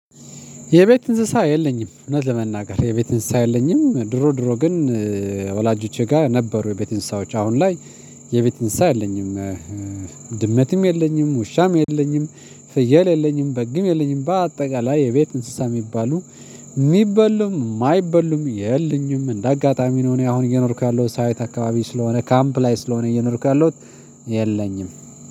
የቤት እንስሳ የለኝም እውነት ለመናገር የቤት እንስሳ የለኝም ድሮ ድሮ ግን ወላጆቼ ጋር ነበሩ የቤት እንስሳዎች አሁን ላይ የቤት እንስሳ የለኝም ድመትም የለኝም ውሻም የለኝም ፍየል የሌለኝም በግም የሌለኝም በአጠቃላይ የቤት እንስሳ የሚባሉ የሚበሉም የማይበሉም የለኝም እንደ አጋጣሚ ነው። እኔ አሁን እየኖርኩ ያለሁት ሳይት አካባቢ ስለሆነ ካምፕ ላይ ስለሆነ እየኖርኩ ያለሁት የለኝም